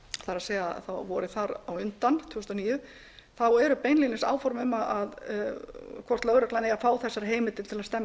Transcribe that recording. það er vorið þar á undan tvö þúsund og níu þá eru beinlínis áform um hvort lögreglan eigi að fá þessar heimildir til að stemma